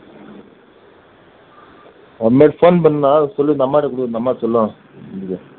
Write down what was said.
இந்த மாதிரி phone பண்ணா சொல்லு இந்த அம்மாகிட்ட கொடு அந்த அம்மா சொல்லுவாங்க